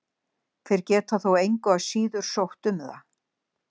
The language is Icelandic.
Þeir geta þó engu að síður sótt um það.